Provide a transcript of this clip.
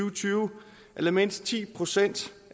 og tyve at lade mindst ti procent